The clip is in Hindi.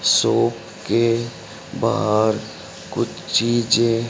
शॉप के बाहर कुछ चीजें--